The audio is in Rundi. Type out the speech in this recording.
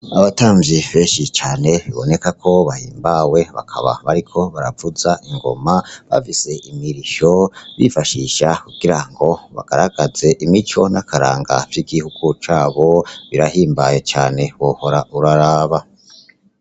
Abatamvyi benshi cane biboneka ko bahimbawe bakaba bariko baravuza ingoma bafise imirisho bifashisha kugira ngo bagaragaze imico n' akaranga vy' igihugu cabo birahimbaye cane wohora uraraba.